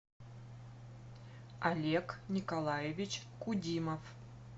олег николаевич кудимов